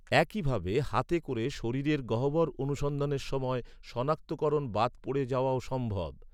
একইভাবে, হাতে করে শরীরের গহ্বর অনুসন্ধানের সময় সনাক্তকরণ বাদ পড়ে যাওয়াও সম্ভব।